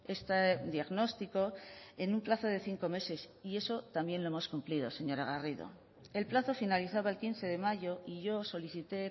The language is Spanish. este diagnóstico en un plazo de cinco meses y eso también lo hemos cumplido señora garrido el plazo finalizaba el quince de mayo y yo solicité